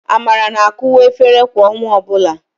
Amara na-akụwa efere kwa ọnwa ọbụla.